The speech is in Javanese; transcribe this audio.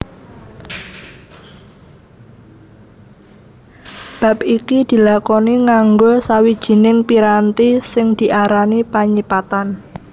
Bab iki dilakoni nganggo sawijining piranti sing diarani panyipatan